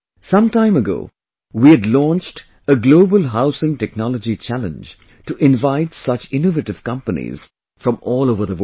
Some time ago we had launched a Global Housing Technology Challenge to invite such innovative companies from all over the world